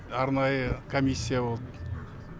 арнайы комиссия болды